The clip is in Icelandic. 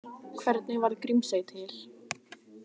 Hvernig varð Grímsey til?